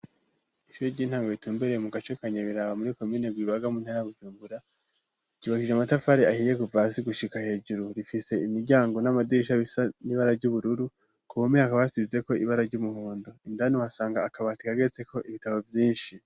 Ishure ry'intango ritumbereye mu gace ka Nyabiraba muri komine Rwibaga mu ntara ya Burumbura, ryubakishije amatafari ahiye kuva hasi gushika hejuru. Rifise imiryango n'amadirisha bisa n'ibara ry'ubururu. Ku mpome hakaba hasizeko ibara ry'umuhondo, indani, uhasanga akabati gateretseko ibitabo vyinshi.